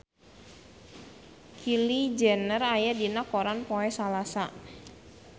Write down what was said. Kylie Jenner aya dina koran poe Salasa